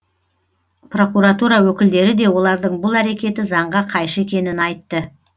прокуратура өкілдері де олардың бұл әрекеті заңға қайшы екенін айтты